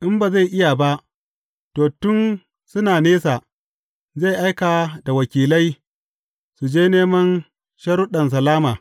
In ba zai iya ba, to, tun suna nesa, zai aika da wakilai, su je neman sharuɗan salama.